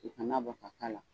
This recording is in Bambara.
U kana bɔ ka k'a la.